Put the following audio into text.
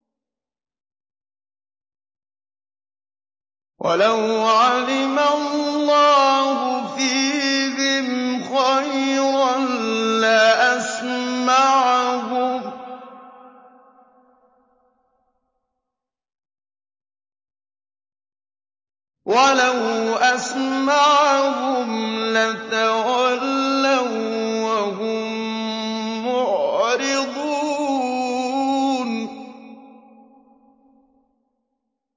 وَلَوْ عَلِمَ اللَّهُ فِيهِمْ خَيْرًا لَّأَسْمَعَهُمْ ۖ وَلَوْ أَسْمَعَهُمْ لَتَوَلَّوا وَّهُم مُّعْرِضُونَ